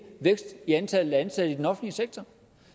vækst i antallet af ansatte i den offentlige sektor